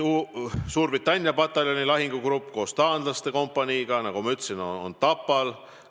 Suurbritannia pataljoni lahingugrupp koos taanlaste kompaniiga, nagu ma ütlesin, on Tapal.